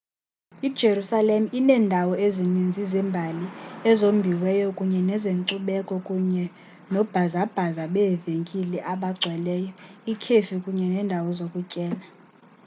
ijerusalem iinendawo ezininzi zembali ezombiweyo kunye nezenkcubeko kunye noobhazabhaza beevenkile abagcweleyo iikhefi kunye neendawo zokutyela